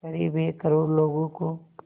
क़रीब एक करोड़ लोगों को